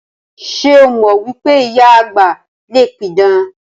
Ṣé o mọ wípé ìyá àgbà le pidàn?